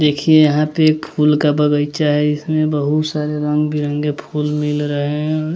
देखिए यहां पे एक फूल का बगीचा है इसमें बहुत सारे रंग बिरंगे फूल भी लगाए हैं।